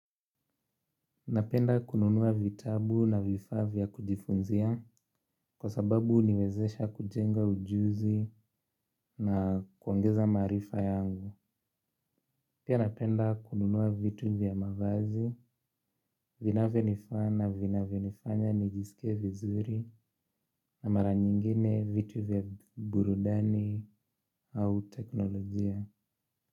Napenda kununua vitabu na vifaa vya kujifunzia kwa sababu huniwezesha kujenga ujuzi na kuongeza maarifa yangu. Pia napenda kununua vitu vya mavazi, vinavyo nivaa na vinavyonifanya nijisike vizuri na mara nyingine vitu vya burudani au teknolojia.